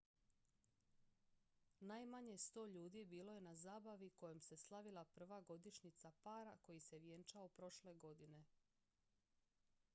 najmanje 100 ljudi bilo je na zabavi kojom se slavila prva godišnjica para koji se vjenčao prošle godine